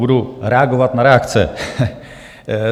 Budu reagovat na reakce.